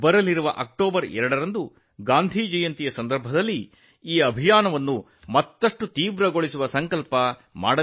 October 2 ರಂದು ಬಾಪು ಅವರ ಜನ್ಮದಿನದ ಸಂದರ್ಭದಲ್ಲಿ ನಾವು ಈ ಅಭಿಯಾನವನ್ನು ತೀವ್ರಗೊಳಿಸುವ ಪ್ರತಿಜ್ಞೆಯನ್ನು ಮಾಡಬೇಕಾಗಿದೆ